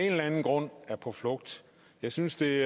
eller anden grund er på flugt jeg synes det